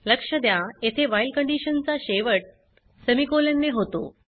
लक्ष द्या येथे व्हाईल कंडीशन चा शेवट सेमिकोलॉन ने होतो